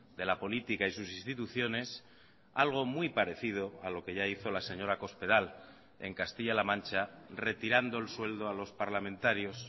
de la política y sus instituciones algo muy parecido a lo que ya hizo la señora cospedal en castilla la mancha retirando el sueldo a los parlamentarios